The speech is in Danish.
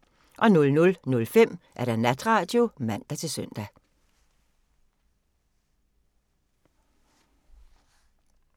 00:05: Natradio (man-søn)